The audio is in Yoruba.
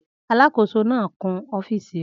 Alàkóso náà ń kun ọ́fìsì rẹ̀